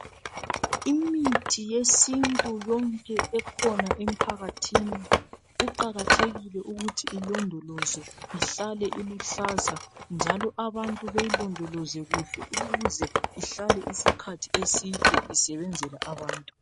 Imithi yesintu yonke ekhona emphakathini kuqakathekile ukuthi ilondolozwe ihlale iluhlaza njalo abantu beyilondoloze kuhle ukuze ihlale isikhathi eside isebenzela abantu